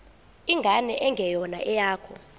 ingane engeyona eyakho